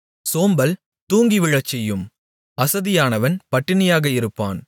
சோம்பல் தூங்கிவிழச்செய்யும் அசதியானவன் பட்டினியாக இருப்பான்